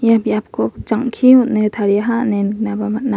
ia biapko jang·ki on·e tariaha ine niknaba man·a.